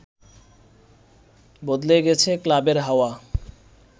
বদলে গেছে ক্লাবের হাওয়া